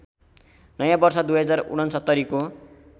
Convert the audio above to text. नयाँ वर्ष २०६९ को